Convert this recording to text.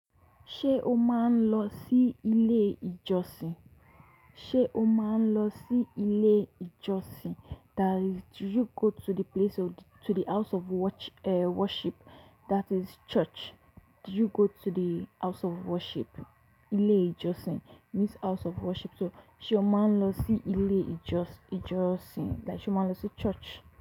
Ṣé o máa ń lọ sí ilé ìjọsìn? Ṣé o máa ń lọ sí ilé ìjọsìn? That is, do you go to the place of to the house of worch, worship, that is church. Do you go to the house of worship? Ilé ìjọsìn means house of worship. So, ṣe o máa ń lọ sí ilé ìjọs ìjọsìn, like ṣe o máa ń lọ sí church.